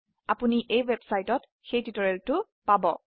আপোনি এই ওয়েবসাইটত সেই টিউটোৰিয়েল টো পাব